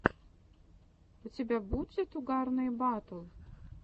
у тебя будет угарные батл